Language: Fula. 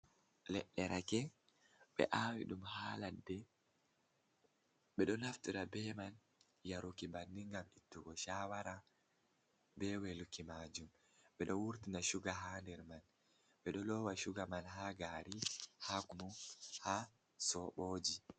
Leɗɗe rake ɓe awi ɗum ha ladde. Ɓeɗo naftira be man ha yaruki banin ngam ittugo shawara be weluki majum, ɓeɗo wurtina suga ha nder man, ɓeɗo lowa suga man ha gari, ha kunu, ha soɓoji.